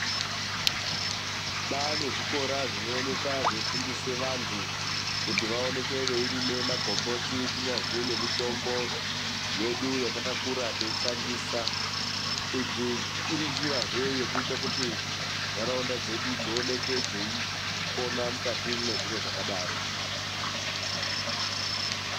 Kwaane zvikora zvinooneka zveifundisa vantu kuti vaoneke veirima magomboti kunyazwi nemitombo yedu yatakakura teishandisa idzi, iri njira zvee yekuita kuti ndaraunda dzedu dzioneke dzeipona mukati mwe zviro zvakadaro.